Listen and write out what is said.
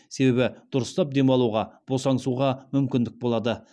себебі дұрыстап демалуға босаңсуға мүмкіндік болады